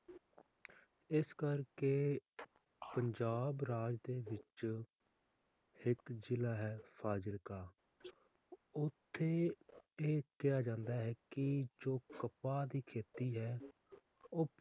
ਇਸ ਕਰਕੇ ਪੰਜਾਬ ਰਾਜ ਦੇ ਵਿਚ ਇੱਕ ਜ਼ਿਲਾ ਹੈ ਫਾਜ਼ਿਲਕਾ, ਓਥੇ ਇਹ ਕਿਹਾ ਜਾਂਦਾ ਹੈ ਕਿ ਜੋ ਕਪਾਹ ਦੀ ਖੇਤੀ ਹੈ,